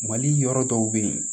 Mali yɔrɔ dɔw bɛ yen